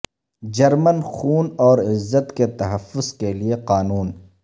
German خون اور عزت کے تحفظ کے لئے قانون